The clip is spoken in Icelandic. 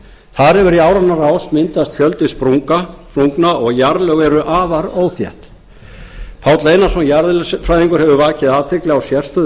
þar hefur í áranna rás myndast fjöldi sprungna og jarðlög eru afar óþétt páll einarsson jarðeðlisfræðingur hefur vakið athygli á sérstöðu